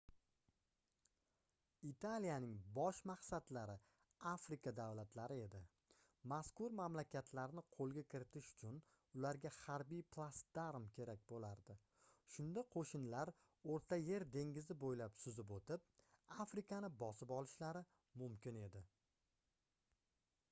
italiyaning bosh maqsadlari afrika davlatlari edi mazkur mamlakatlarni qoʻlga kiritish uchun ularga harbiy platsdarm kerak boʻlardi shunda qoʻshinlar oʻrta yer dengizi boʻylab suzib oʻtib afrikani bosib olishlari mumkin edi